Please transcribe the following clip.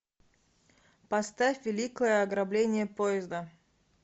поставь великое ограбление поезда